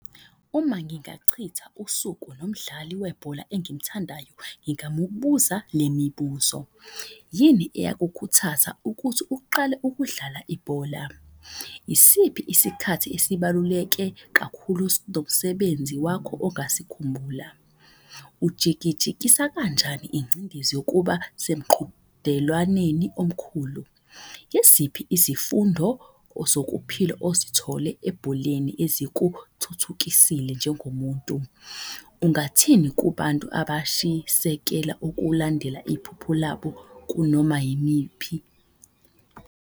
Uma ngingachitha usuku nomdlali webhola engimthandayo, ngingamubuza le mibuzo. Yini eyakukhuthaza ukuthi uqale ukudlala ibhola? Isiphi isikhathi esibaluleke kakhulu nomsebenzi wakho ongasikhumbula? Ujikijikisa kanjani ingcindezi yokuba semqhudelwaneni omkhulu? Yiziphi izifundo zokuphila osithole ebholeni ezikuthuthukisile njengo muntu? Ungathini kubantu abashisekela ukulandela iphupho labo kunoma yimiphi?